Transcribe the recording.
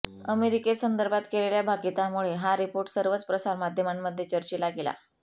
अमेरिकेसंदर्भात केलेल्या भाकितामुळे हा रिपोर्ट सर्वच प्रसारमाध्यमांमध्ये चर्चिला गेला